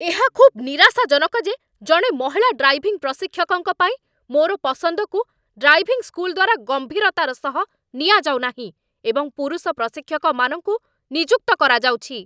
ଏହା ଖୁବ୍ ନିରାଶାଜନକ ଯେ ଜଣେ ମହିଳା ଡ୍ରାଇଭିଂ ପ୍ରଶିକ୍ଷକଙ୍କ ପାଇଁ ମୋର ପସନ୍ଦକୁ ଡ୍ରାଇଭିଂ ସ୍କୁଲ୍ ଦ୍ୱାରା ଗମ୍ଭୀରତାର ସହ ନିଆଯାଉନାହିଁ, ଏବଂ ପୁରୁଷ ପ୍ରଶିକ୍ଷକମାନଙ୍କୁ ନିଯୁକ୍ତ କରାଯାଉଛି